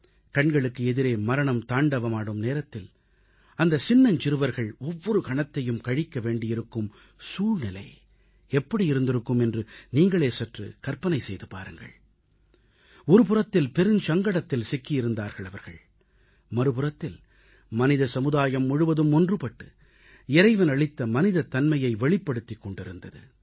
கண்களுக்கு எதிரே மரணம் தாண்டவமாடும் நேரத்தில் அந்தச் சின்னஞ்சிறுவர்கள் ஒவ்வொரு கணத்தையும் கழிக்க வேண்டியிருக்கும் சூழ்நிலை எப்படி இருந்திருக்கும் என்று நீங்கள் சற்றே கற்பனை செய்து பாருங்கள் ஒருபுறத்தில் பெருஞ்சங்கடத்தில் சிக்கியிருந்தார்கள் அவர்கள் மறுபுறத்தில் மனித சமுதாயம் முழுவதும் ஒன்றுபட்டு இறைவனளித்த மனிதத் தன்மையை வெளிப்படுத்திக் கொண்டிருந்தது